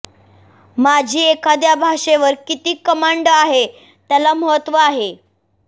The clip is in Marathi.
माझी एखाद्या भाषेवर किती कमांड आहे त्याला महत्व आहे